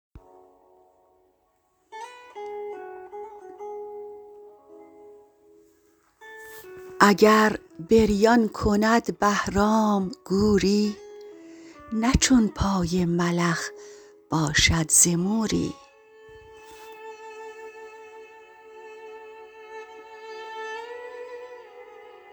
اگر بریان کند بهرام گوری نه چون پای ملخ باشد ز موری